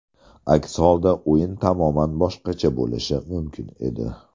Aks holda o‘yin tamoman boshqacha bo‘lishi mumkin edi.